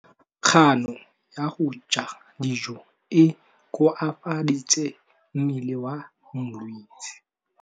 Kganô ya go ja dijo e koafaditse mmele wa molwetse.